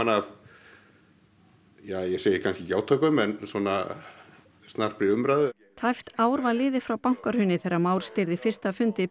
af ja ég segi kannski ekki átökum en svona snarpri umræðu tæpt ár var liðið frá bankahruni þegar Már stýrði fyrsta fundi